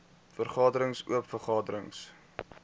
vergaderings oop vergaderings